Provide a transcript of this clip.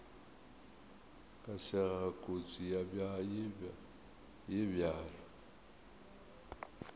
ka sega kotsi ye bjalo